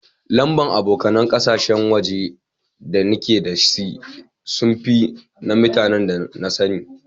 Lamba'n abokanen kasashen waje da nike da si sun fi na mutanen da na sanni.